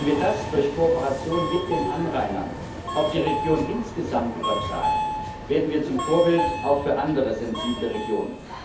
Wenn wir das durch Kooperation mit den Anrainern auf die Region insgesamt übertragen, werden wir zum Vorbild auch für andere sensible Regionen.